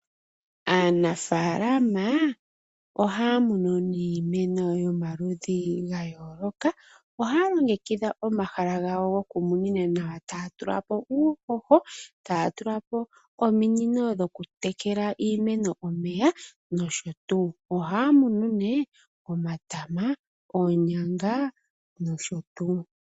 Aanafaalama ohaya munu iimeno yomaludhi ga yooloka. Ohaya longekidha omahala gawo gokumunina nawa, taya tula po uuhoho, taya tula po ominino dhokutekela iimeno omeya nosho tuu. ohaya munu nee omatama, oonyanga nosho tuu.